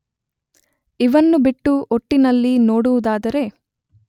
ಇವನ್ನು ಬಿಟ್ಟು ಒಟ್ಟಿನಲ್ಲಿ ನೋಡುವುದಾದರೆ